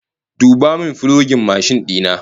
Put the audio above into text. Duba min fulogin mashin dina!